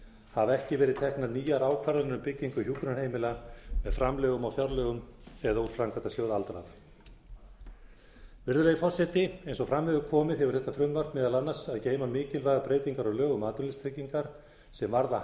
hafa ekki verið teknar nýjar ákvarðanir um byggingu hjúkrunarheimila með framlögum af fjárlögum eða úr framkvæmdasjóði aldraðra virðulegi forseti eins og fram hefur komið hefur þetta frumvarp meðal annars að geyma mikilvægar breytingar á lögum um atvinnuleysistryggingar sem varða